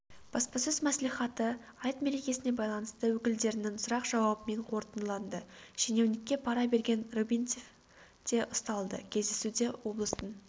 баспасөз мәслихаты айт мерекесіне байланысты өкілдерінің сұрақ-жауабымен қорытындыланды шенеунікке пара берген рыбинцев те ұсталды кездесуде облыстың